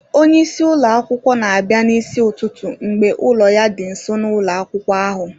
Onye isi ụlọ akwụkwọ na-abịa n'isi ụtụtụ mgbe ụlọ ya dị nso na ụlọ akwụkwọ ahụ